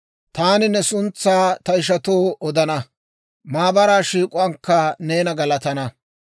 Taani ne suntsaa ta ishatoo odana; maabaraa shiik'uwaankka neena galatana.